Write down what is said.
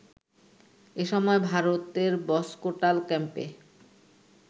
এ সময় ভারতের বসকোটাল ক্যাম্পে